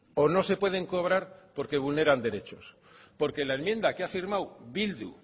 o no se pueden cobrar porque vulneran derechos porque la enmienda que ha firmado bildu